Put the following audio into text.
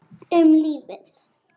Um lífið.